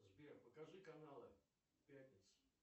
сбер покажи каналы пятница